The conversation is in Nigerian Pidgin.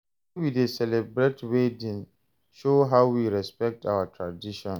The way we dey celebrate wedding show how we respect our tradition.